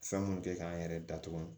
Fɛn mun kɛ k'an yɛrɛ datugu